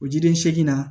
O jiden seegin na